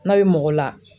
N'a bɛ mɔgɔ la